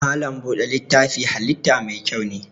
Malam buɗe littafin halitta mai kyau ne.